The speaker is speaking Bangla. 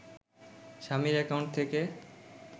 স্বামীর অ্যাকাউন্ট থেকে